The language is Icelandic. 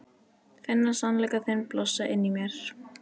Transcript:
Finna sannleika þinn blossa inni í mér.